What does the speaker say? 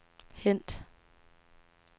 hent